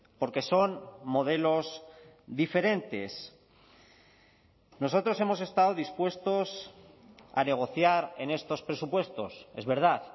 porque son modelos diferentes nosotros hemos estado dispuestos a negociar en estos presupuestos es verdad